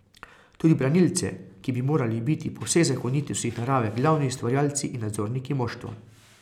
Tudi branilce, ki bi morali biti po vseh zakonitostih narave glavni ustvarjalci in nadzorniki moštva.